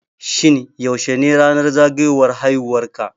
Shin yaushe ne ranar zagayowan haiwuwar ka